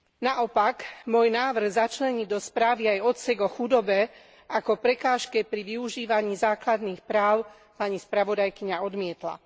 Naopak, môj návrh začleniť do správy aj odsek o chudobe ako prekážke pri využívaní základných práv pani spravodajkyňa odmietla.